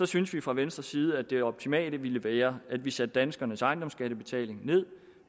synes vi fra venstres side at det optimale ville være at vi satte danskernes ejendomsskattebetaling ned